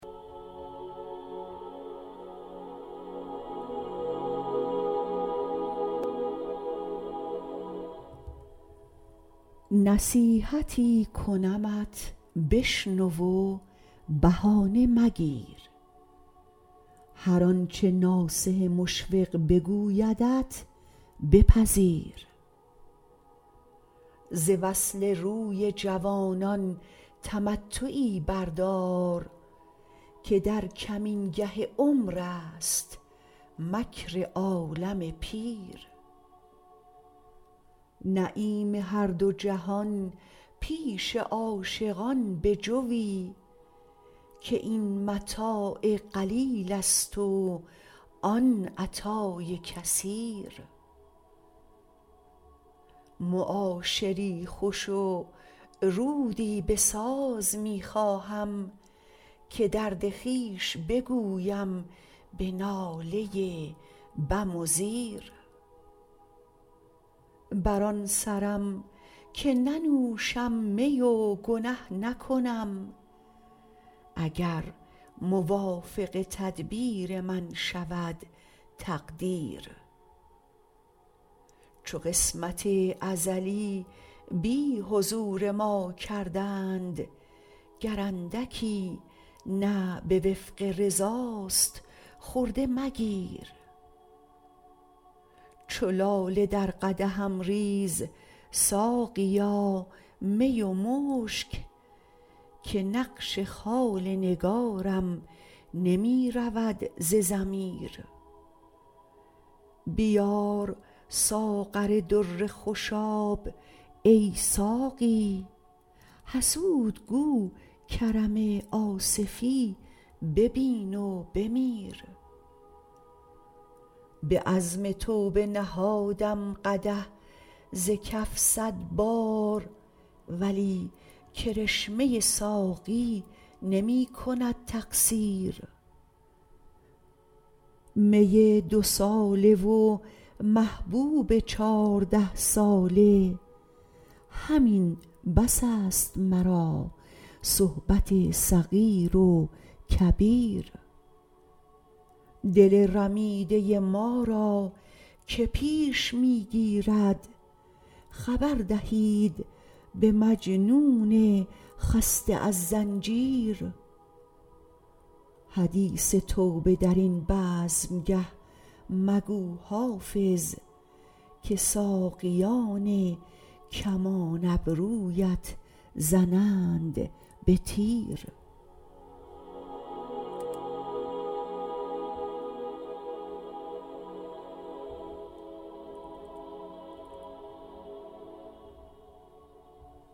نصیحتی کنمت بشنو و بهانه مگیر هر آنچه ناصح مشفق بگویدت بپذیر ز وصل روی جوانان تمتعی بردار که در کمینگه عمر است مکر عالم پیر نعیم هر دو جهان پیش عاشقان بجوی که این متاع قلیل است و آن عطای کثیر معاشری خوش و رودی بساز می خواهم که درد خویش بگویم به ناله بم و زیر بر آن سرم که ننوشم می و گنه نکنم اگر موافق تدبیر من شود تقدیر چو قسمت ازلی بی حضور ما کردند گر اندکی نه به وفق رضاست خرده مگیر چو لاله در قدحم ریز ساقیا می و مشک که نقش خال نگارم نمی رود ز ضمیر بیار ساغر در خوشاب ای ساقی حسود گو کرم آصفی ببین و بمیر به عزم توبه نهادم قدح ز کف صد بار ولی کرشمه ساقی نمی کند تقصیر می دوساله و محبوب چارده ساله همین بس است مرا صحبت صغیر و کبیر دل رمیده ما را که پیش می گیرد خبر دهید به مجنون خسته از زنجیر حدیث توبه در این بزمگه مگو حافظ که ساقیان کمان ابرویت زنند به تیر